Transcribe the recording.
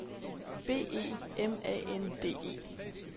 B E M A N D E